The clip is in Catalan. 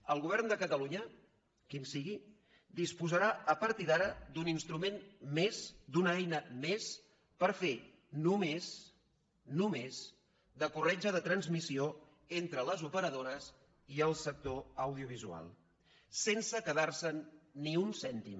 el govern de catalunya el que sigui disposarà a partir d’ara d’un instrument més d’una eina més per fer només només de corretja de transmissió entre les operadores i el sector audiovisual sense quedar se’n ni un cèntim